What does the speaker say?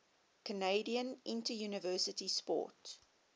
canadian interuniversity sport